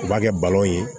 U b'a kɛ ye